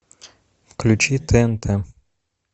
включи тнт